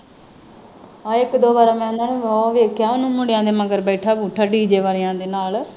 ਆਹੋ ਇਕ ਦੋ ਬਾਰ ਮੈ ਉਨ੍ਹਾਂ ਵਾਵਾ ਵੇਖਿਆ ਵੀ ਮੁੰਡੀਆ ਦੇ ਮਗਰ ਬੈਠਿਆ ਬੁੱਠੀਆ ਡੀ ਜੇ ਵਾਲਿਆਂ ਦੇ ਨਾਲ਼